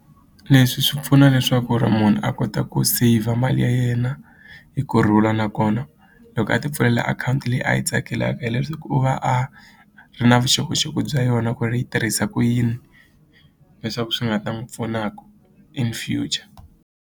Leswi swi pfuna leswaku ri munhu a kota ku saver mali ya yena hi kurhula nakona loko a ti pfulela akhawunti leyi a yi tsakelaka hileswi u va a ri na vuxokoxoko bya yona ku ri yi tirhisa ku yini leswaku swi nga ta n'wi pfunaka in future.